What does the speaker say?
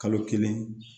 Kalo kelen